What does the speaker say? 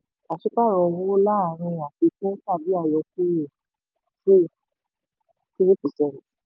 pàsípààrọ̀ pàsípààrọ̀ owó wà láàárín àfikún tàbí àyọkúrò two to three percent.